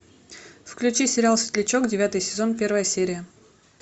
включи сериал светлячок девятый сезон первая серия